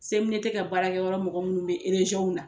ka baarakɛyɔrɔ mɔgɔ minnu bɛ na.